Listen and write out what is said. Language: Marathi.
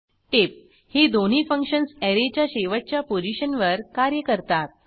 टीप ही दोन्ही फंक्शन्स ऍरेच्या शेवटच्या पोझिशनवर कार्य करतात